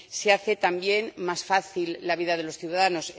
Se hace también más fácil la vida de los ciudadanos